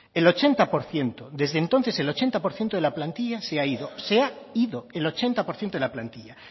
el ochenta por ciento desde entonces el ochenta por ciento de la plantilla se ha ido se ha ido el ochenta por ciento de la plantilla